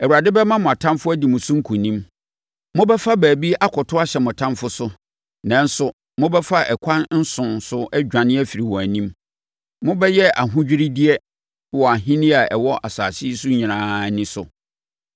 Awurade bɛma mo atamfoɔ adi mo so nkonim. Mobɛfa baabi akɔto ahyɛ mo atamfoɔ so, nanso, mobɛfa akwan nson so adwane afiri wɔn anim. Mobɛyɛ ahodwiredeɛ wɔ ahennie a ɛwɔ asase yi so nyinaa ani so.